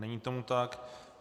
Není tomu tak.